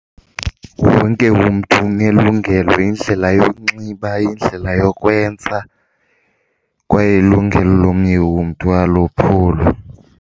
Wonke umntu unelungelo, indlela yokunxiba, indlela yokwenza kwaye ilungelo lomnye umntu alophulwa.